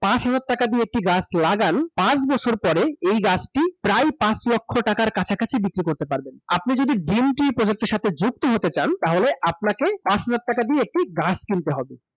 পাঁচ হাজার টাকা দিয়ে একটি গাছ লাগান, পাঁচ বছর পরে এই গাছটি প্রায় পাঁচ লক্ষ টাকার কাছাকাছি বিক্রি করতে পারবেন। আপনি যদি green tree project এর সাথে যুক্ত হতে চান, তাহলে আপনাকে পাঁচ হাজার টাকা দিয়ে একটি গাছ কিনতে হবে।